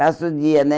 Passa o dia, né?